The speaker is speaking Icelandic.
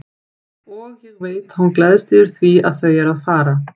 Og ég veit að hún gleðst yfir því að þau eru að fara.